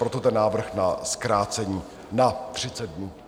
Proto ten návrh na zkrácení na 30 dnů.